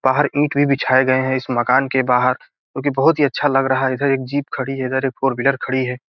बाहर ईंट भी बिछाए गए हैं इस मकान के बाहर जो की बहोत ही अच्छा लग रहा है इधर एक जीप खड़ी है इधर एक फॉर व्हीलर खड़ी है।